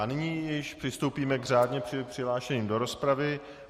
A nyní již přistoupíme k řádně přihlášeným do rozpravy.